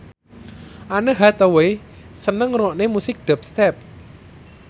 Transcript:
Anne Hathaway seneng ngrungokne musik dubstep